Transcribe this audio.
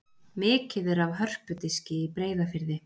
Mikið er af hörpudiski í Breiðafirði.